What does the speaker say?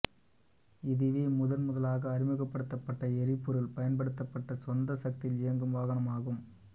இதுவே முதன் முதலாக அறிமுகப்படுத்தப் பட்ட எரிபொருள் பயன்படுத்தப்பட்ட சொந்த சக்தியில் இயங்கும் வாகனமாகும்